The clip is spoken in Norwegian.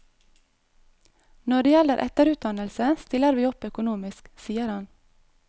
Når det gjelder etterutdannelse stiller vi opp økonomisk, sier han.